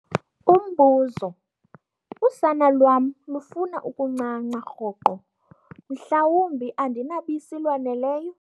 Umbuzo- Usana lwam lufuna ukuncanca rhoqo mhlawumbi andinabisi lwaneleyo?